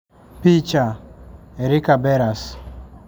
Picha: Erika Beras